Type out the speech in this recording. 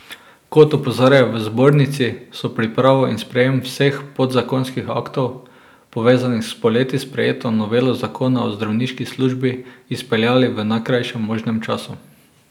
Kot opozarjajo v zbornici, so pripravo in sprejem vseh podzakonskih aktov, povezanih s poleti sprejeto novelo zakona o zdravniški službi, izpeljali v najkrajšem možnem času.